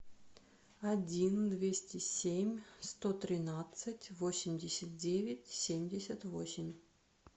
один двести семь сто тринадцать восемьдесят девять семьдесят восемь